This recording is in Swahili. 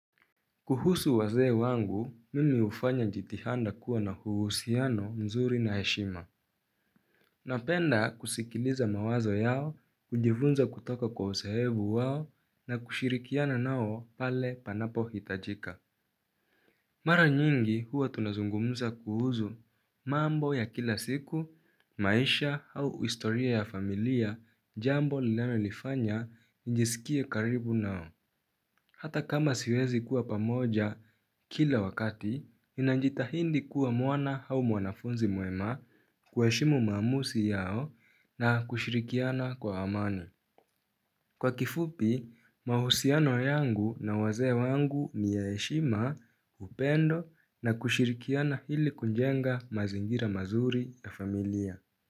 Kuhusu wazee wangu, mimi hufanya jitihanda kuwa na huhusiano mzuri na heshima. Napenda kusikiliza mawazo yao, kujivunza kutoka kwa usoevu wao na kushirikiana nao pale panapohitajika. Mara nyingi huwa tunazungumza kuhuzu mambo ya kila siku, maisha au istoria ya familia jambo linalonifanya nijisikie karibu nao. Hata kama siwezi kuwa pamoja kila wakati, ninanjitahindi kuwa mwana hau mwanafunzi mwema kueshimu maamusi yao na kushirikiana kwa amani. Kwa kifupi, mahusiano yangu na wazee wangu ni ya eshima upendo na kushirikiana hili kunjenga mazingira mazuri ya familia.